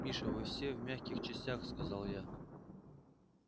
миша вы все в мягких частях сказал я